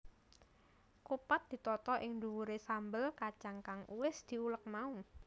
Kupat ditata ing dhuwuré sambel kacang kang wis diulek mau